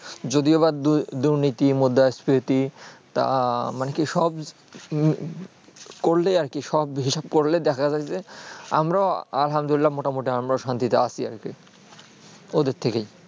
যদিও বা দুর্নীতি মৃদাসমিতি তার মানে কি সব করলে আর কি সব হিসাব করলে দেখা যাচ্ছেই যে আমরাও আলহামদুলিল্লাহ মোটামুটি আমরাও শান্তি তে আছি আর কি ওদের থেকে